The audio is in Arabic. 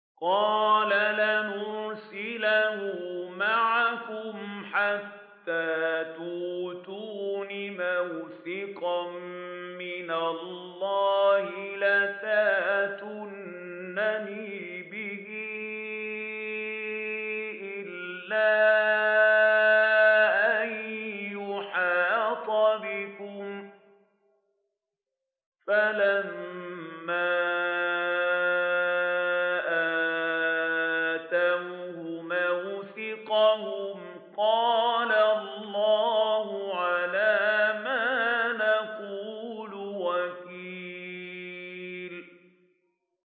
قَالَ لَنْ أُرْسِلَهُ مَعَكُمْ حَتَّىٰ تُؤْتُونِ مَوْثِقًا مِّنَ اللَّهِ لَتَأْتُنَّنِي بِهِ إِلَّا أَن يُحَاطَ بِكُمْ ۖ فَلَمَّا آتَوْهُ مَوْثِقَهُمْ قَالَ اللَّهُ عَلَىٰ مَا نَقُولُ وَكِيلٌ